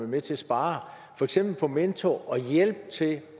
med til at spare for eksempel på mentorer og hjælp til